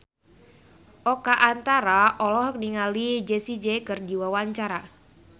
Oka Antara olohok ningali Jessie J keur diwawancara